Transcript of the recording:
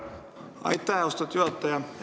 Aitäh, austatud juhataja!